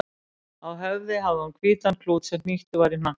Á höfði hafði hún hvítan klút sem hnýttur var í hnakkanum.